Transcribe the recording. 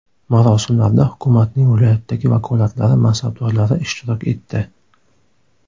Marosimlarda hukumatning viloyatdagi vakolatlari mansabdorlari ishtirok etdi.